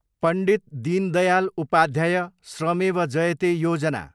Pandit Deendayal Upadhyay Shramev Jayate Yojana